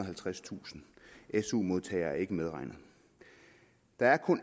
halvtredstusind su modtagere er ikke medregnet der er kun